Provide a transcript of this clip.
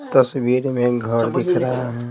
तस्वीर में घर दिख रहा है।